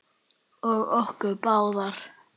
Og okkur báðar.